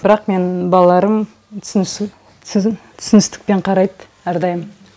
бірақ менің балаларым түсіністікпен қарайды әрдайым